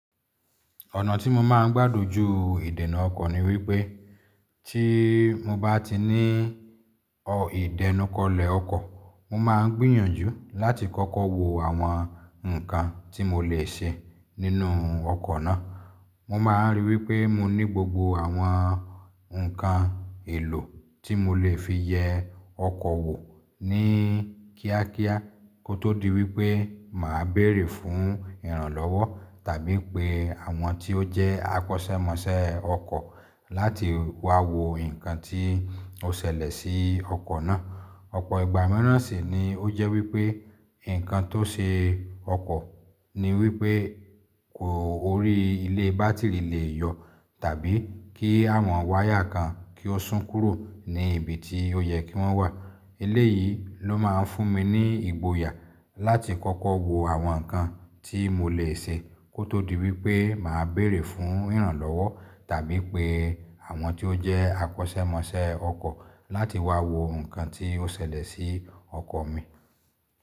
Ọ̀nà tí mo máa ń gbádojú ìdènà ọkọ̀ ni wípé tí mo bá ti ní ìdẹnukọlẹ̀ ọkọ̀, mo máa ń gbìyànjú láti kọ́kọ́ wo àwọn nǹkan tí mo lè ṣe nínú ọkọ̀ náà. Mo máa ríi wípé mo ní gbogbo àwọn ǹkan èlò tí mo lè fi yẹ ọkọ̀ wò ní kíákíá kó tó di wípé mà á béèrè fún ìrànlọ́wọ́ tàbí pé àwọn tí ó jẹ́ akọ́ṣẹ́mọṣẹ́ ọkọ̀ láti wá wo nǹkan tí ó ṣẹlẹ̀ sí ọkọ̀ náà. Ọ̀pọ̀ ìgbà míràn sì ni ó jẹ́ wípé nǹkan tó ṣe ọkọ̀ ni wípé kò orí ilé bátìrì lè yọ tàbí kí àwọn wáyà kan kí ó sún kúrò ní ibi tí ó yẹ kí wọ́n wà. Ilé yìí ló máa ń fún mi ní ìgboyà láti kọ́kọ́ wo àwọn nǹkan tí mo lè ṣe kó tó di wípé mà á béèrè fún ìrànlọ́wọ́ tàbí pé àwọn tí ó jẹ́ akọ́ṣẹ́mọṣẹ́ ọkọ̀ láti wá wo nǹkan tí ó ṣẹlẹ̀ sí ọkọ̀ mi.